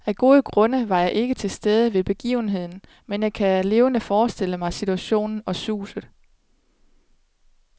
Af gode grunde var jeg ikke til stede ved begivenheden, men jeg kan levende forestille mig situationen og suset.